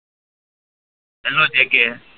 hello જે કે